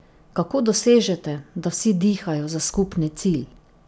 Kako dosežete, da vsi dihajo za skupni cilj?